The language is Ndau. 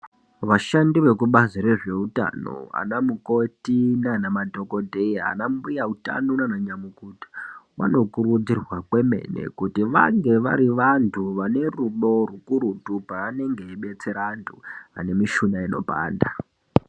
Vashandi vebazi rezveutano anamukoti nanamadhokodheya, anambuya utano naana nyamukuta vanokurudzirwa kwemene kuti vange vari vantu vanerudo rwukurutu paanenge eibetsera antu anemushuna inopanda.